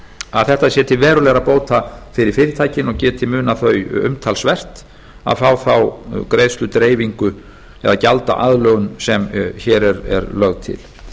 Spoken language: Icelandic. að þetta sé til verulegra bóta fyrir fyrirtækin og geti munað þau umtalsvert að fá þá greiðsludreifingu eða gjaldaaðlögun sem hér er lögð til